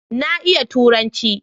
Na iya Turanci.